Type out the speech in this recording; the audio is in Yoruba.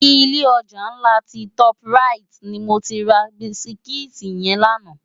Ilé ojá nlá ti tòp ráiti ni mó ti rá bisikiti yèn làná